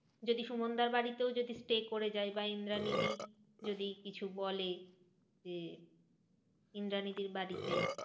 যদি সুমানদার বাড়িতেও যদি stay করে যাই। বা ইন্দ্রানী দি যদি কিছু বলে যে ইন্দ্রানীদির বাড়িতে।